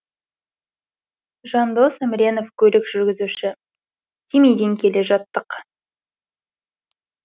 жандос әміренов көлік жүргізуші семейден келе жаттық